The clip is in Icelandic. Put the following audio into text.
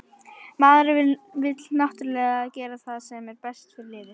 Maðurinn vill náttúrulega gera það sem er best fyrir liðið.